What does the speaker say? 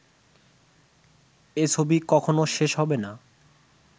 এ ছবি কখনো শেষ হবে না